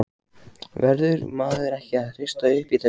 Verður maður ekki að hrista upp í þessu?